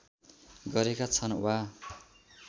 गरेका छन् वा